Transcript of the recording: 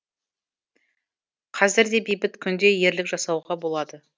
қазір де бейбіт күнде ерлік жасауға болады